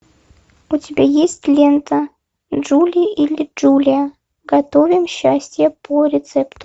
у тебя есть лента джули или джулия готовим счастье по рецепту